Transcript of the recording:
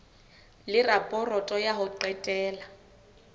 le raporoto ya ho qetela